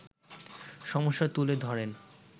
সমস্যা তুলে ধরেন